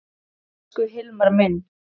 Elsku Hilmar minn.